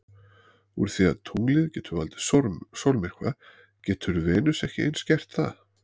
Úr því að tunglið getur valdið sólmyrkva getur Venus ekki eins gert það?